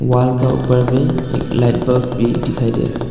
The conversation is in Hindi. वॉल का ऊपर में एक लाइट बल्ब भी दिखाई दे रहा है।